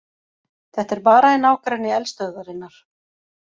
Þetta er bara í nágrenni eldstöðvarinnar